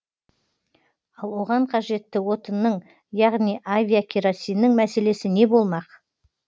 ал оған қажетті отынның яғни авиакеросиннің мәселесі не болмақ